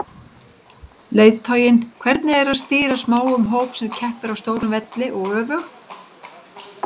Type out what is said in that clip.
Leiðtoginn, hvernig er að stýra smáum hóp sem keppir á stórum velli og öfugt?